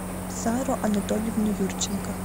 сару анатольевну юрченко